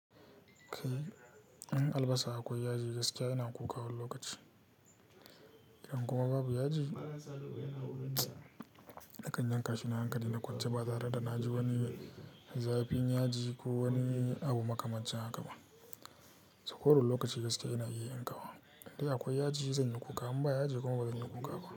Kai in albasa akwai yaji gaskiya ina kuka wani lokaci. Idan kuma babu yaji, nakan yanka shi na hankali na kwance batare, da na ji wani zafin yaji ko wani abu makamancin haka ba. So ko da wani lokaci gaskiya ina iya yankawa. Indai akwai yaji zan yi kuka, in ba yaji kuma bazan yi kuka ba.